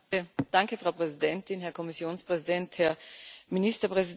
Frau Präsidentin, Herr Kommissionspräsident, Herr Ministerpräsident!